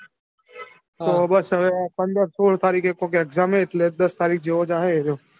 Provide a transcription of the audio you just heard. તો બસ હવે પંદર સોળ તારીખે કોક exam હે એટલે દસ તારીખ જેવો જાહે એરયો.